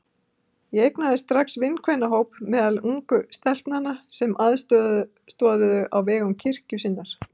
Ég eignaðist strax vinkvennahóp meðal ungu stelpnanna sem aðstoðuðu á vegum kirkju sinnar.